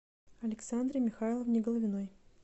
александре михайловне головиной